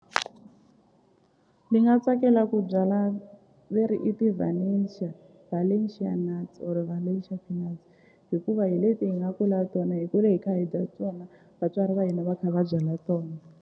Ni nga tsakela ku byala veri i ti-valencia valencia na valencia hikuva hi leti hi nga kula tona hi kule hi kha hi dya tona vatswari va hina va kha va byala tona.